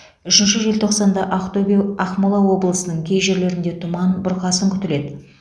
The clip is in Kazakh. үшінші желтоқсанда ақтөбе ақмола облысының кей жерлерінде тұман бұрқасын күтіледі